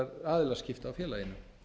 aðilaskipta á félaginu